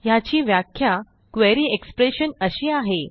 ह्याची व्याख्या query expression अशी आहे